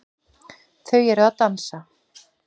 Þau eru að dansa